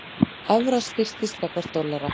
Evra styrktist gagnvart dollara